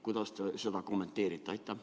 Kuidas te seda kommenteerite?